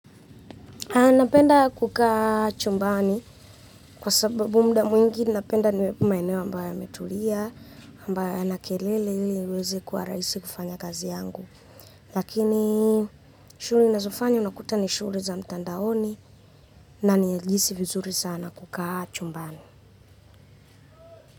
Napenda kukaa chumbani kwa sababu muda mwingi napenda niwe maeneo ambayo yametulia, ambayo hayana kelele ili iweze kuwa rahisi kufanya kazi yangu. Lakini shughuli ninazofanya unakuta ni shughuli za mtandaoni na nilihisi vizuri sana kukaa chumbani.